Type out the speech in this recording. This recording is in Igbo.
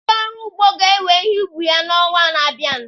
Ndị ọrụ ugbo ga ewe ihe ubi ha n'onwa na-abịa.